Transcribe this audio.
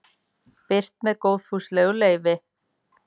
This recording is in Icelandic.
Birt með góðfúslegu leyfi.